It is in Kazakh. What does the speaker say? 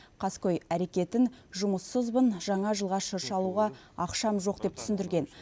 қаскөй әрекетін жұмыссызбын жаңа жылға шырша алуға ақшам жоқ деп түсіндірген